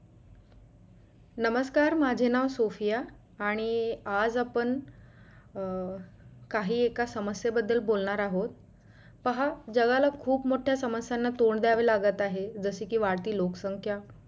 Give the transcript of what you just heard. नमस्कार माझे नाव सोफिया आणि आज आपण अं काही एका समस बदल बोलणार आहोत पहा जगाला खूप मोठ्या समस्यांना थोंड धायवे लागतं आहे जस की वाढती लोकसंख्या!